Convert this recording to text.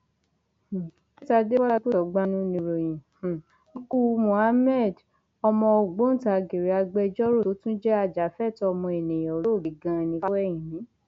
um faith adébọlá agbósọgbànu nìròyìn um ikú muhammed ọmọ ògbóǹtarìgì agbẹjọrò tó tún jẹ ajàfẹtọọ ọmọnìyàn olóògbé gani fáwẹhìnmí